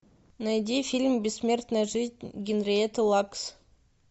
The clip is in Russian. найди фильм бессмертная жизнь генриетты лакс